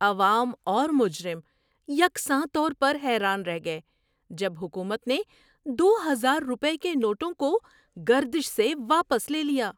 عوام اور مجرم یکساں طور پر حیران رہ گئے جب حکومت نے دو ہزار روپے کے نوٹوں کو گردش سے واپس لے لیا۔